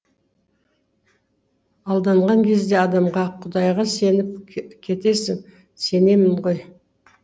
алданған кезде адамға құдайға сеніп кетесің сенемін ғой